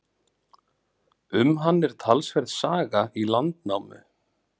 Um hann er talsverð saga í Landnámu.